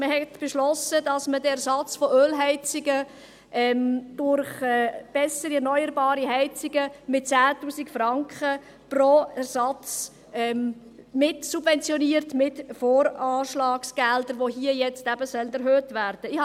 Man hat beschlossen, den Ersatz von Ölheizungen durch bessere, erneuerbare Heizungen mit 10 000 Franken pro Ersatz mit VA-Geldern mitzusubventionieren, die hier nun erhöht werden sollen.